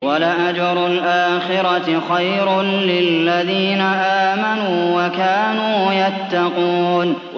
وَلَأَجْرُ الْآخِرَةِ خَيْرٌ لِّلَّذِينَ آمَنُوا وَكَانُوا يَتَّقُونَ